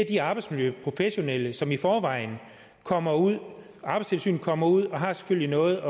de arbejdsmiljøprofessionelle som i forvejen kommer ud arbejdstilsynet kommer ud og har selvfølgelig noget